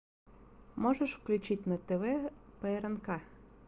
можешь включить на тв прнк